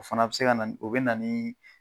O fana be se ka na ni, o be na ni